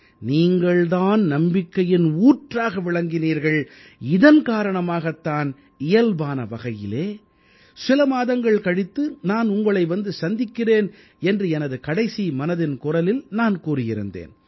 நீங்கள் தான் நம்பிக்கையின் ஊற்றாக விளங்கினீர்கள் இதன் காரணமாகத் தான் இயல்பான வகையிலே சில மாதங்கள் கழித்து நான் உங்களை வந்து சந்திக்கிறேன் என்று எனது கடைசி மனதின் குரலில் நான் கூறியிருந்தேன்